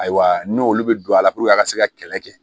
Ayiwa n'olu bɛ don a la puruke a ka se ka kɛlɛ kɛ